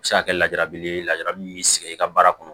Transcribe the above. A bɛ se ka kɛ lajabili ye lajarabi sigi i ka baara kɔnɔ